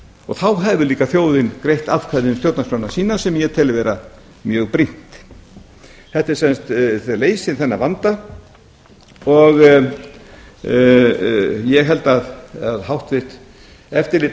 og þá hefur líka þjóðin greitt atkvæði um stjórnarskrána sína sem ég tel vera mjög brýnt þetta leysir þennan vanda og ég held að háttvirtrar